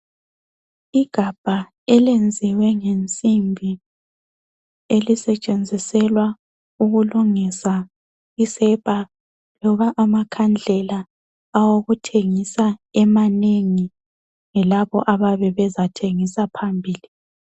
Igabha elenziwe ngensimbi ,elisetshenziselwa ukulungisa isepa loba amakhandlela awokuthengisa emanengi ,yilabo abayabe bezathengisa phambili.